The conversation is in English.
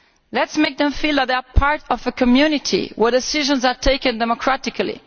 Let us make them feel that they are part of a community where decisions are taken democratically.